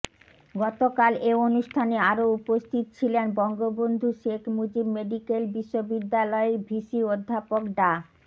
গতকাল এ অনুষ্ঠানে আরো উপস্থিত ছিলেন বঙ্গবন্ধু শেখ মুজিব মেডিক্যাল বিশ্ববিদ্যালয়ের ভিসি অধ্যাপক ডা